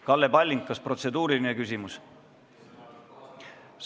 Kalle Palling, kas protseduuriline küsimus?